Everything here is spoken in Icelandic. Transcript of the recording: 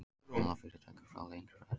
Fjármálafyrirtæki fá lengri frest